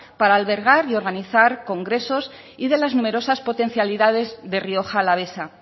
para albergar y organizar congresos y de las numerosas potencialidades de rioja alavesa